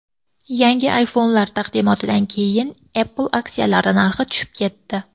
Yangi iPhone’lar taqdimotidan keyin Apple aksiyalari narxi tushib ketdi.